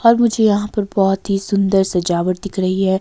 और मुझे यहां पर बहोत ही सुंदर सजावट दिख रही है।